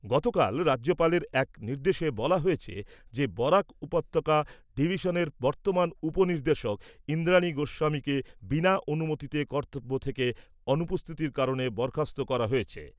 গতকাল রাজ্যপালের এক নির্দেশে বলা হয়েছে যে বরাক উপত্যকা ডিভিশনের বর্তমান উপ নির্দেশক ইন্দ্রানী গোস্বামীকে বিনা অনুমতিতে কর্তব্য থেকে অনুপস্থিতির কারণে বরখাস্ত করা হয়েছে।